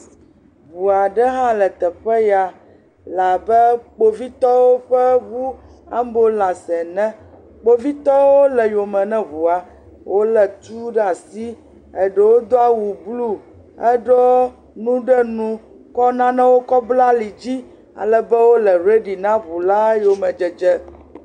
Ŋua ɖe hã le teƒe ya le abe kpovitɔwo ƒe ŋu ambulanci ene. Kpovitɔwo le yome ne ŋua. Wo le tu ɖe asi eɖewo do awu blu heɖu nu ɖe nu kɔ nanewo kɔ bla ali dzi ale be wo le redi na wu la yome dzedze.